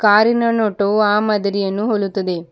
ಕಾರಿನ ನೋಟು ಆ ಮಾದರಿಯನ್ನು ಹೋಲುತ್ತದೆ.